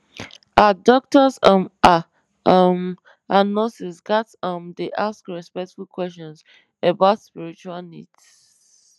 ah doctors um ah um and nurses ghats um dey ask respectful questions about spiritual needs